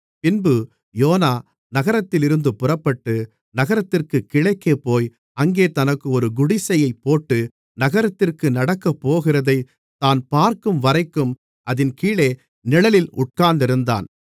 பின்பு யோனா நகரத்திலிருந்து புறப்பட்டு நகரத்திற்குக் கிழக்கே போய் அங்கே தனக்கு ஒரு குடிசையைப் போட்டு நகரத்திற்கு நடக்கப்போகிறதைத் தான் பார்க்கும்வரைக்கும் அதின் கீழே நிழலில் உட்கார்ந்திருந்தான்